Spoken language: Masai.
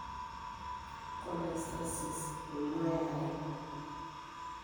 Cholestasis emua yare?